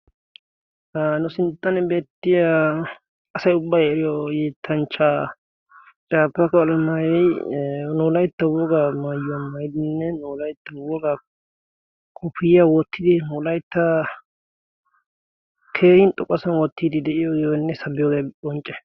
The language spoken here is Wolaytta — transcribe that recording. Ha nu sinttan beettiya asay ubbay eriyo yeettanchchaa caafaka alamayoy nu wolaytta wogaa maayuwaa maayidinne nu wolaytta wogaa kopiyiyaa woottidi nu wolaytta keehin xoqasan woottiiddi de'iyoyiyonne sabbiyoogee qoncce.